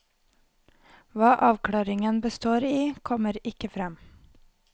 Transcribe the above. Hva avklaringen består i, kommer ikke frem.